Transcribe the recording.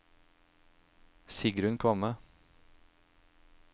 Sigrunn Kvamme